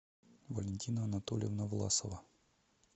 валентина анатольевна власова